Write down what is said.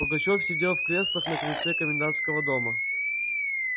пугачёв сидел в креслах на крыльце комендантского дома